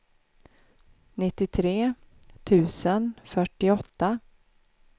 nittiotre tusen fyrtioåtta